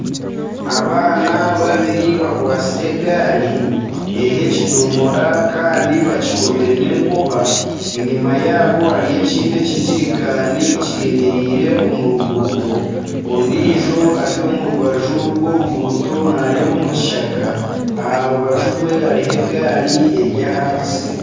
Abaana babiri bakwatsire egaari eriho ekidomodora Kandi bakikomire nana enkoba enyuma yaabo hariyo ekindi ekidomora kyemereire omu ruguuto ondiijo ari omu rubaju rw'oruguuto nareeba omukishaka aharubaju rwe hariho egaari eri ahansi.